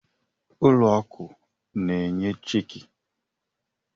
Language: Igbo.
Ụlọ akụ na-enye cheekị.